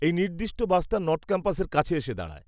এই নির্দিষ্ট বাসটা নর্থ ক্যাম্পাসের কাছে এসে দাঁড়ায়।